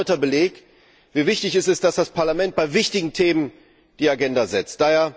Er ist ein erneuter Beleg, wie wichtig es ist, dass das Parlament bei wichtigen Themen die Agenda vorgibt.